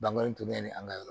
Bangan tobi ne ni an ka yɔrɔ